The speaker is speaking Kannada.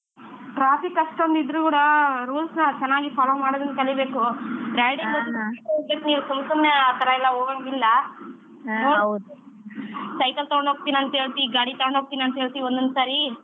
Traffic ಅಷ್ಟೊಂದ್ ಇದ್ರು ಕೂಡ rules ನ ಚನ್ನಾಗಿ follow ಮಾಡೋದನ್ನ ಕಲಿಬೇಕು ಗಾಡಿ ತರ್ತೇನಂತ ಸುಮ್ಸುಮ್ನೆ ಆತರ ಎಲ್ಲಾ ಹೋಗಂಗಿಲ್ಲಾ cycle ತಗೊಂಡು ಹೋಗ್ತಿನಂತ್ ಹೇಳ್ತಿ ಗಾಡಿ ತಗೊಂಡು ಹೋಗ್ತಿನಂತ್ ಹೇಳ್ತಿ ಒನ್ನೊಂದ್ ಸಾರಿ